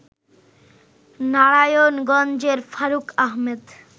নারায়ণ গঞ্জের ফারুক আহমেদ